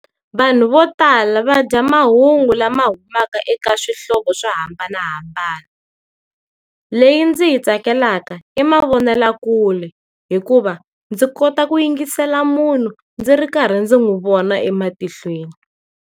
Vanhu vo tala va dya mahungu lama humaka eka swihlovo swo hambanahambana. Leyi ndzi yi tsakelaka, i mavonelakule, hikuva, ndzi kota ku yingisela munhu ndzi ri karhi ndzi n'wi vona ematihlweni.